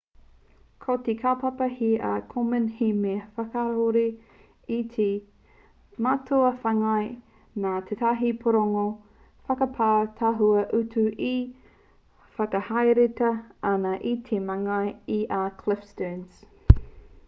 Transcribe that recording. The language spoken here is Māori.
ko te kaupapa here a komen he mea whakakahore i te mātua whāngai nā tētahi pūrongo whakapau tahua utu e whakahaeretia ana e te māngai i a cliff sterns